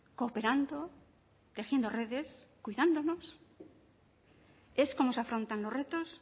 cooperando tejiendo redes cuidándonos es como se afrontan los retos